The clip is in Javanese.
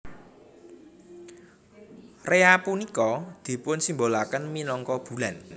Rea punika dipunsimbolaken minangka bulan